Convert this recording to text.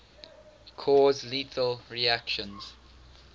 cause lethal reactions